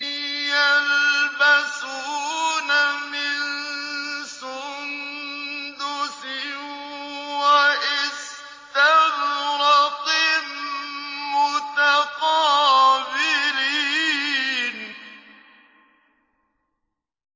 يَلْبَسُونَ مِن سُندُسٍ وَإِسْتَبْرَقٍ مُّتَقَابِلِينَ